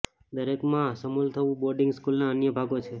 દરેકમાં શામેલ થવું બોર્ડિંગ સ્કૂલના અન્ય ભાગો છે